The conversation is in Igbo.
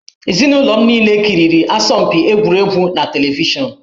Ezinụlọ m niile kiriri asọmpi egwuregwu na televishọnụ